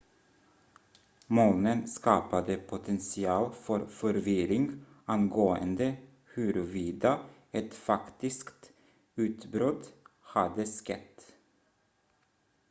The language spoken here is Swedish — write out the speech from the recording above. molnen skapade potential för förvirring angående huruvida ett faktiskt utbrott hade skett